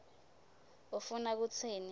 ufuna kutsini